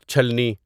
چھلنی